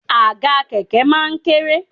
Àga kẹ̀kẹ́ máa ń kéré